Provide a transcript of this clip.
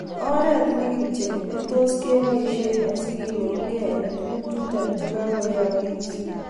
Oret ni kityo netos keboishe asigenemuge eng tuguk chuto chegakoyeyogis